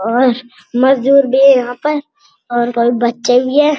और मजदूर भी है यहां पर और उनका एक बच्चा भी है।